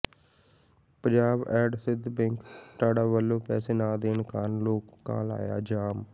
Punjab and Sind Bank Tanda ਵੱਲੋਂ ਪੈਸੇ ਨਾ ਦੇਣ ਕਾਰਨ ਲੋਕਾਂ ਲਾਇਆ ਜਾਮ